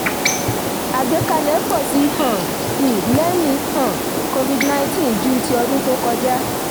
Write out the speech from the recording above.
àgbẹ́kẹ̀lé pọ sí um i lẹ́yìn um cs] covid nineteen ju ti ọdún tó kọjá.